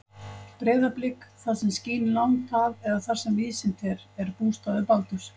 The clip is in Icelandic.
Breiðablik, það sem skín langt að eða þar sem víðsýnt er, er bústaður Baldurs.